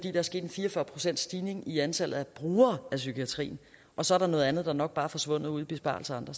er sket en fire og fyrre procentsstigning i antallet af brugere af psykiatrien og så er der noget andet der nok bare er forsvundet ud i besparelser andre